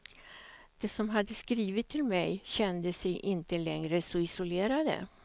De som hade skrivit till mig kände sig inte längre så isolerade.